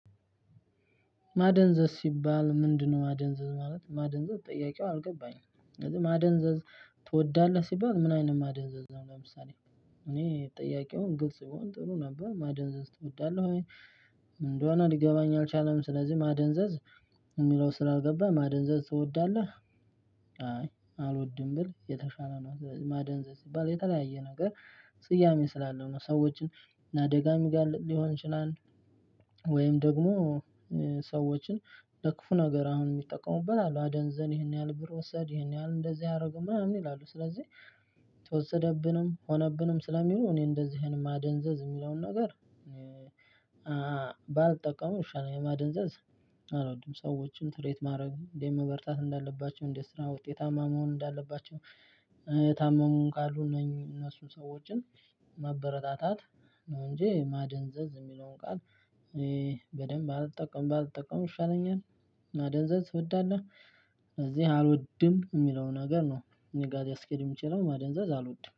ማደንዘዝ ሲባል ምንድነው ማደንዘዝ ማለት ማደንዘዝ ጥያቄው አልገባኝም ማደንዘዝ ትወዳለህ ሲባል ምን አይነት ማደንዘዝ ነው? ለምሳሌ እኔ ጥያቄውን ግልጽ ቢሆን ጥሩ ነበር ማደንዘዝ ትወዳለህ ወይ እንደሆነ ሊገባኝ አልቻለም። ስለዚህ ማደንዘዝ የሚለው ስላልገባ ማደንዘዝ ትወዳለህ? አይ አልወድም ብል የተሻለ ነው። ማደንዘዝ የተለያየ ነገር ስያሜ ስላለው ነው ሰዎችን ለአደጋ የሚጋልጥ ሊሆን ይችላል። ወይም ደግሞ ሰዎችን ለክፉ ነገር አሁን የሚጠቀሙበት አሉ አደንዘን ይሄን ያህል ብር ወሰድ ይሄን ያህል እንደዚህ ያደርገው ምናምን ይላሉ። ስለዚህ ተወሰድብንም ሆነብንም ስለሚሉ እኔ አንድዚህ አይነት ማደንዘዝ ሚለውን ነገር እኔ ባልጠቀመው ይሻለኛል። ማደንዘዝ አልወድም። ሰዎችን ትሪት ማድረግ እንዴት መበርታት እንዳለባቸው እንዴት በስራ ውጤታማ እንዳለባቸው። የታመሙም ካሉ እነሱ ሰዎችን ማበረታታት ነው። እንጂ ማደንዘዝ የሚለውን ቃል እኔ በደንብ አልጠቀምም አልጠቀምም ይሻለኛል። ማደንዘዝ እወዳለሁ ስለዚህ አልወድም የሚለውን ነገር ነው እኔ ጋር ሊያስኬድ የሚያስችለው ማደንዘዝ አልወድም